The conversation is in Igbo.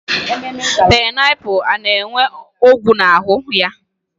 Painaipu na-enwe ọgwụ n'ahụ ya.